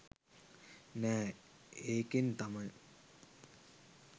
නැහැ ඒකෙන් තමයි